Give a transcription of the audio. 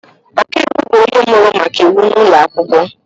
Ọkaiwu bụ onye mụrụ maka iwu n’ụlọ akwụkwọ